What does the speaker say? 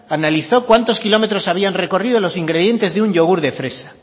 analizo cuántos kilómetros habían recorrido los ingredientes de un yogur de fresa